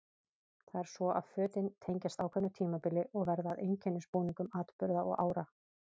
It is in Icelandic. Það er svo að fötin tengjast ákveðnu tímabili og verða að einkennisbúningum atburða og ára.